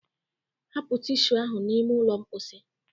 Hapụ tishu ahụ n'ime ụlọ mkposi.